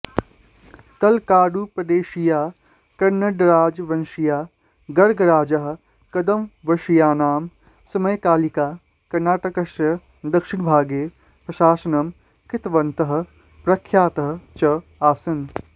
तलकाडुप्रदेशीयाः कन्नडराजवंशीयाः गङ्गराजाः कदम्बवशीयानां समकालिकाः कर्नाटकस्य दक्षिणभागे प्रशासनं कृतवन्तः प्रख्याताः च आसन्